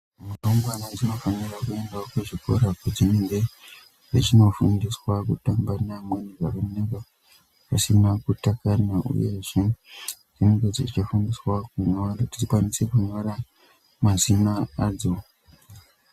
Ndumure dzinofana kuenda kuchikora kwadzinenge dzichindofundiswa kutamba neamweni zvakanaka zvisina kutakana. Uyezve dzinenge dzichifundiswa kunyora mazina adzo.